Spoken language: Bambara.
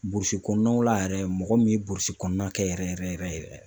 Burusi kɔnɔnaw la yɛrɛ, mɔgɔ min ye burusi kɔnɔna kɛ yɛrɛ yɛrɛ yɛrɛ yɛrɛ yɛrɛ